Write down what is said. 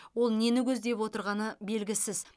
ол нені көздеп отырғаны белгісіз